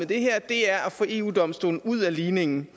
det her det er at få eu domstolen ud af ligningen